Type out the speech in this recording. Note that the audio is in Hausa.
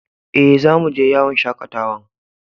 Eh, zamu je yawon shakatawan.